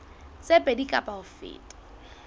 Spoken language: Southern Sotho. tse pedi kapa ho feta